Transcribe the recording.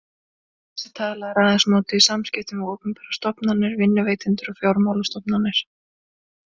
Þessi tala er aðeins notuð í samskiptum við opinberar stofnanir, vinnuveitendur og fjármálastofnanir.